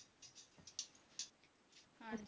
ਹਾਂਜੀ।